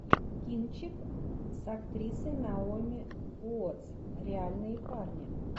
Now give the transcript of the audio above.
кинчик с актрисой наоми уотс реальные парни